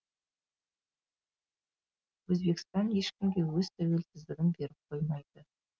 өзбекстан ешкімге өз тәуелсіздігін беріп қоймайды